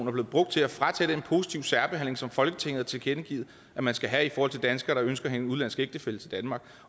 er blevet brugt til at fratage den positive særbehandling som folketinget har tilkendegivet at man skal have i forhold til danskere der ønsker at få en udenlandsk ægtefælle til danmark